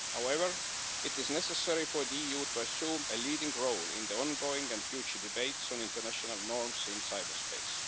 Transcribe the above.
However, it is necessary for the EU to assume a leading role in the ongoing and future debates on international norms in cyberspace.